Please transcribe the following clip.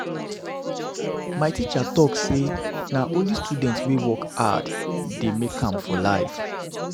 My teacher talk sey na only student wey work hard dey make am for life.